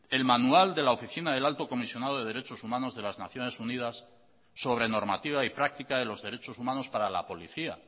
el manual de la oficina del alto comisionado de derechos humanos de las naciones unidas sobre normativa y práctica de los derechos humanos para la policía